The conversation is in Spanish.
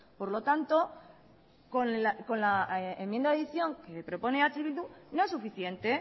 por lo tanto con la enmienda de adicción que propone eh bildu no es suficiente